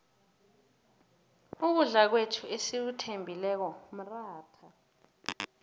ukudla kwethu esikuthembileko mratha